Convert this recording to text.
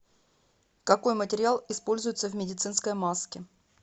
какой материал используется в медицинской маске